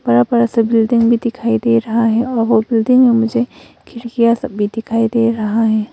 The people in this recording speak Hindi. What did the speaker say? बड़ा बड़ा सा बिल्डिंग भी दिखाई दे रहा है और वो बिल्डिंग में मुझे खिड़कियां सब भी दिखाई दे रहा है।